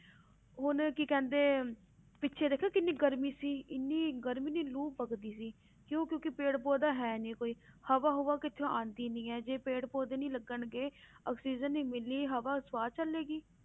ਹੁਣ ਕੀ ਕਹਿੰਦੇ ਪਿੱਛੇ ਦੇਖਿਆ ਕਿੰਨੀ ਗਰਮੀ ਸੀ ਇੰਨੀ ਗਰਮੀ ਇੰਨੀ ਲੂ ਵਗਦੀ ਸੀ ਕਿਉਂ ਕਿਉਂਕਿ ਪੇੜ ਪੌਦਾ ਹੈ ਨੀ ਕੋਈ ਹਵਾ ਹੁਵਾ ਕਿਤੋਂ ਆਉਂਦੀ ਨੀ ਹੈ ਜੇ ਪੇੜ ਪੌਦੇ ਨੀ ਲੱਗਣਗੇ ਆਕਸੀਜਨ ਨੀ ਮਿਲਣੀ, ਹਵਾ ਸਵਾਹ ਚੱਲੇਗੀ।